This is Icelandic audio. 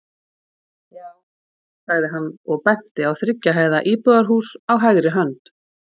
Já, sagði hann og benti á þriggja hæða íbúðarhús á hægri hönd.